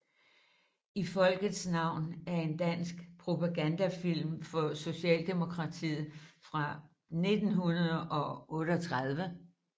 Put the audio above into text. I folkets navn er en dansk propagandafilm for Socialdemokratiet fra 1938